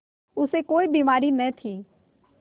उसे कोई बीमारी न थी